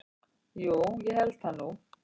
Jú ég held það nú.